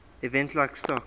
events like stock